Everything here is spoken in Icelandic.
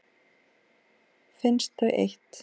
Finnst þau eitt.